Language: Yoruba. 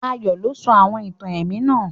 Ayó lo sọ àwon ìtàn èmí náà